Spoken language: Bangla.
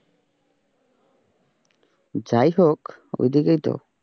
যাইহোক ওইদিকেই তো?